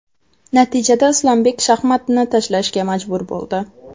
Natijada Islombek shaxmatni tashlashga majbur bo‘ldi.